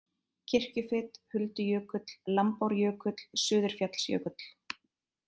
Kirkjufit, Huldujökull, Lambárjökull, Suðurfjallsjökull